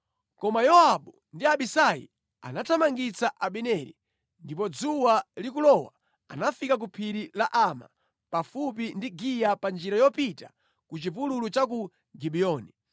Koma Yowabu ndi Abisai anathamangitsa Abineri, ndipo dzuwa likulowa, anafika ku phiri la Ama, pafupi ndi Giya pa njira yopita ku chipululu cha ku Gibiyoni.